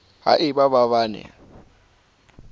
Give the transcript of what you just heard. ha e ba ba ne